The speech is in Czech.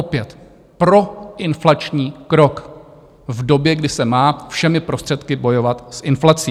Opět proinflační krok v době, kdy se má všemi prostředky bojovat s inflací.